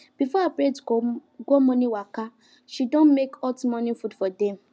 before her parents go morning waka she don make hot morning food for dem